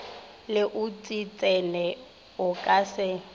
le oksitšene o ka se